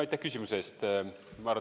Aitäh küsimuse eest!